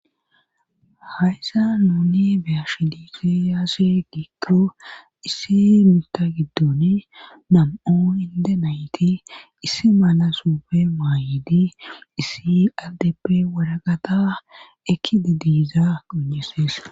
Hayssa nuni beyashi dise yaasse giigio isse mita giddoni nam7oo inde nayti issi mala supe maayedi issi aldeppe waraqata ekkide diiza gojesees.